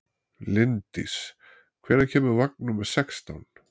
Linddís, hvenær kemur vagn númer sextán?